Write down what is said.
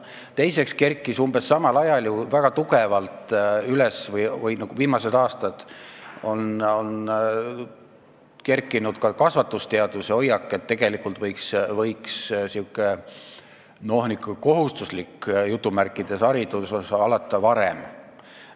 Teiseks kerkis umbes samal ajal väga tugevalt üles viimastel aastatel tugevnenud kasvatusteaduslik hoiak, et tegelikult võiks kohustuslik haridus alata varem.